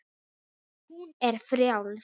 Hún er frjáls.